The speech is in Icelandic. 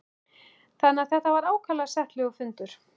Þannig að þetta var ákaflega settlegur fundur.